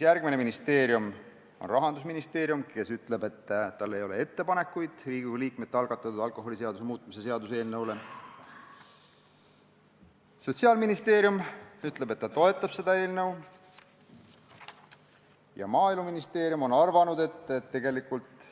Rahandusministeerium ütleb, et tal ei ole ettepanekuid Riigikogu liikmete algatatud alkoholiseaduse muutmise seaduse eelnõu kohta, Sotsiaalministeerium ütleb, et ta toetab seda eelnõu, ja Maaeluministeerium on arvanud, et tegelikult